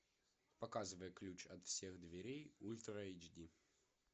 показывай ключ от всех дверей ультра эйч ди